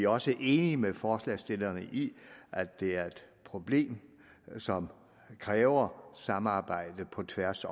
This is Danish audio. også enige med forslagsstillerne i at det er et problem som kræver samarbejde på tværs